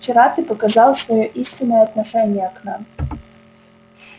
вчера ты показал своё истинное отношение к нам